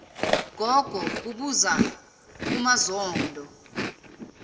gogo kubuza umazondo